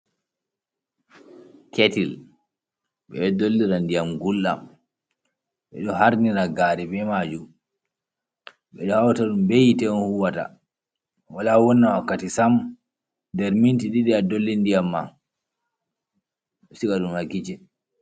Ketil ɓeɗo dollira ndiyam gulɗam, ɓeɗo harnir gari be majum, ɓeɗo hawtaɗum behite on huwata, wala wonna wakkati sam derminti ɗiɗi adolle ndiyam ma siga ɗum ha kicin.